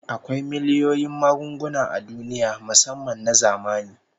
Akwai miliyoyin magunguna a duniya musamman na zamani